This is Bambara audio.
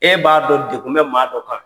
E b'a dɔn degun bɛ maa dɔ kan.